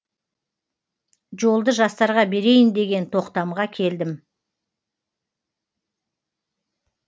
жолды жастарға берейін деген тоқтамға келдім